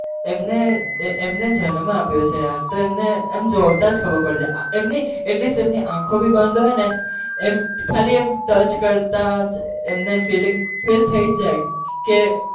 એમને એમને જન્મ આપ્યો છે યાર તો એમને આમ જોતા જ ખબર પડી જાય એમની at least આંખો भी બંદ હોય ને એમ કાલી એમ touch કરતા જ એમને feeling feel થઇ જાય કે